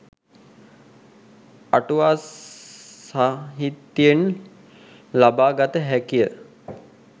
අටුවා සාහිත්‍යයෙන් ලබා ගත හැකිය.